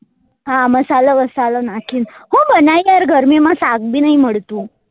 હા મસાલો બસાલો નાખી ન હું બનાયીએ યાર ગરમી માં શાક બી નહી મળતું